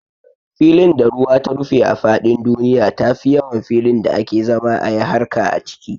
Filin da ruwa ta rufe a faɗin duniya tafi yawan filin da ake zama ayi harka a ciki